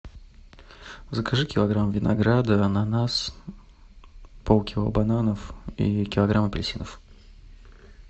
закажи килограмм винограда ананас полкило бананов и килограмм апельсинов